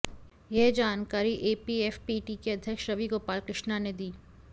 यह जानकारी एपीएफपीटी के अध्यक्ष रवि गोपालकृष्णा ने दी